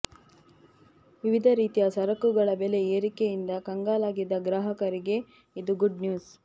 ವಿವಿಧ ರೀತಿಯ ಸರಕುಗಳ ಬೆಲೆ ಏರಿಕೆಯಿಂದ ಕಂಗಾಲಾಗಿದ್ದ ಗ್ರಾಹಕರಿಗೆ ಇದು ಗುಡ್ ನ್ಯೂಸ್